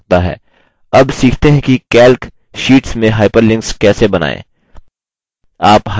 अब सीखते हैं कि calc शीट्स में hyperlinks कैसे बनाएँ